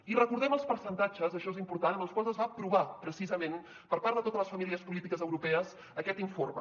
i recordem els percentatges això és important amb els quals es va aprovar precisament per part de totes les famílies polítiques europees aquest informe